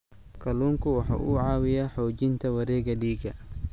Kalluunku waxa uu caawiyaa xoojinta wareegga dhiigga.